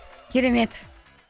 керемет